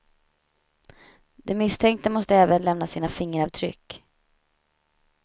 De misstänkta måste även lämna sina fingeravtryck.